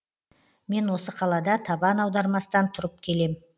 мен осы қалада табан аудармастан тұрып келем